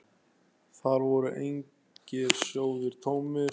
Þar voru engir sjóðir tómir.